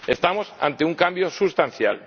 Estamos ante un cambio sustancial.